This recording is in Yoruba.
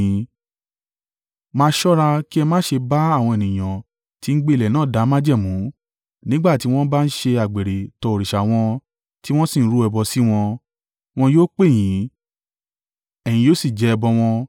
“Máa ṣọ́ra kí ẹ má ṣe bá àwọn ènìyàn tí ń gbé ilẹ̀ náà dá májẹ̀mú; nígbà tí wọ́n bá ń ṣe àgbèrè tọ òrìṣà wọn, tí wọ́n sì rú ẹbọ sí wọn, wọn yóò pè yín, ẹ̀yin yóò sì jẹ ẹbọ wọn.